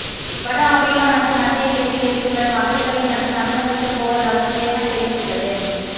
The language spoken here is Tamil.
வட ஆப்பிரிக்கா மற்றும் மத்திய கிழக்கில் இருந்து வரும் அகதிகளை மட்டும் அனுமதிக்கப் போவதாக ஜேர்மன் தெரிவித்துள்ளது